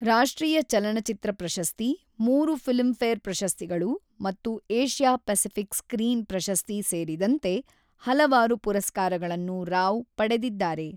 ರಾಷ್ಟ್ರೀಯ ಚಲನಚಿತ್ರ ಪ್ರಶಸ್ತಿ, ಮೂರು ಫಿಲ್ಮ್‌ಫೇರ್ ಪ್ರಶಸ್ತಿಗಳು ಮತ್ತು ಏಷ್ಯಾ ಪೆಸಿಫಿಕ್ ಸ್ಕ್ರೀನ್ ಪ್ರಶಸ್ತಿ ಸೇರಿದಂತೆ ಹಲವಾರು ಪುರಸ್ಕಾರಗಳನ್ನು ರಾವ್ ಪಡೆದಿದ್ದಾರೆ.